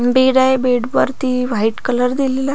bed आहे बेडवरती white colour दिलेला--